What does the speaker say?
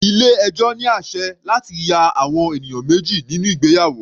Ilé ẹjọ́ ní àsẹ̀ láti ya àwọn ènìyàn méjì nínú ìgbéyàwó.